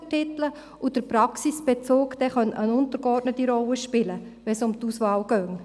Zudem spiele der Praxisbezug eine untergeordnete Rolle, wenn es um die Auswahl geht.